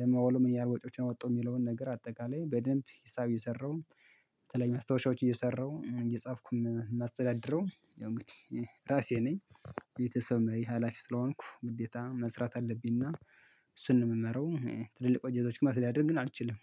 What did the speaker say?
ለማውለም ያህል ወጪዎችን ወጣሁ የሚለውን ነገር አጠቃላይ በደንብ ሂሳብ የሰራው። በተለይ መስታወሻዎች እየሰራሁ እየጻፍኩ የማስተዳድረው ያው እንግዲህ ራሴ ነኝ። ቤተሰብ መሪ ሀላፊ ስለሆንኩ ግዴታ መስራት አለብኝና። እሱን ነው የምመራው ትልልቅ ድርጅቶች መስተዳደር ግን አልችልም